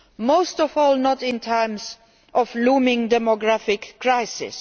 Most of all not in times of looming demographic crisis.